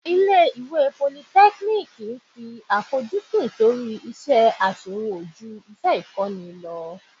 Ilé ìwé politẹ́kíníìkì ń fi àfojúsùn sórí iṣẹ́ àṣewò ju iṣẹ́ ìkọ́ni lọ.